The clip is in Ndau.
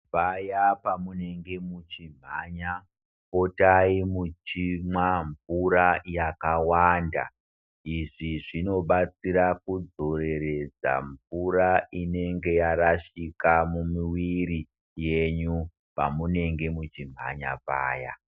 Paya pamunenge muchimhanya, potai muchimwa mvura yakawanda. Izvi zvinobatsira kudzoreredza mvura inenge yarashika mumuiri yenyu pamunenge muchimhanya paya.